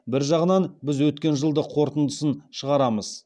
бір жағынан біз өткен жылдық қорытындысын шығарамыз